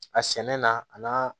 A sɛnɛ na a n'a